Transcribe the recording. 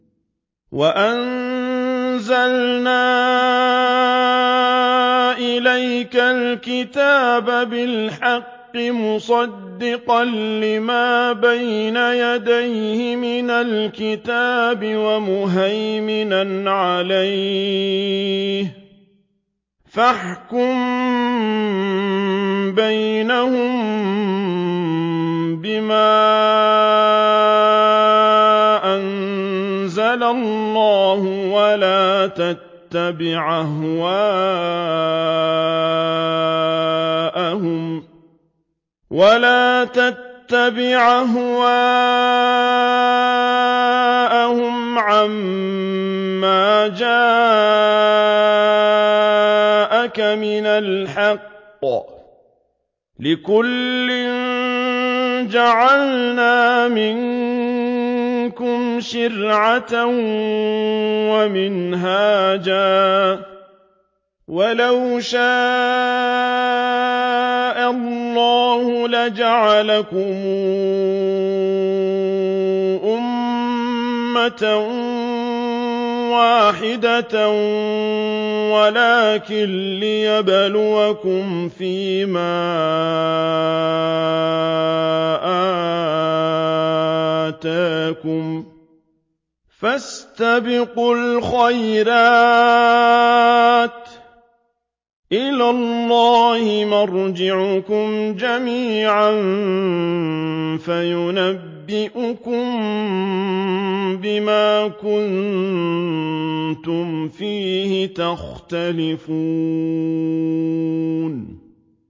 وَأَنزَلْنَا إِلَيْكَ الْكِتَابَ بِالْحَقِّ مُصَدِّقًا لِّمَا بَيْنَ يَدَيْهِ مِنَ الْكِتَابِ وَمُهَيْمِنًا عَلَيْهِ ۖ فَاحْكُم بَيْنَهُم بِمَا أَنزَلَ اللَّهُ ۖ وَلَا تَتَّبِعْ أَهْوَاءَهُمْ عَمَّا جَاءَكَ مِنَ الْحَقِّ ۚ لِكُلٍّ جَعَلْنَا مِنكُمْ شِرْعَةً وَمِنْهَاجًا ۚ وَلَوْ شَاءَ اللَّهُ لَجَعَلَكُمْ أُمَّةً وَاحِدَةً وَلَٰكِن لِّيَبْلُوَكُمْ فِي مَا آتَاكُمْ ۖ فَاسْتَبِقُوا الْخَيْرَاتِ ۚ إِلَى اللَّهِ مَرْجِعُكُمْ جَمِيعًا فَيُنَبِّئُكُم بِمَا كُنتُمْ فِيهِ تَخْتَلِفُونَ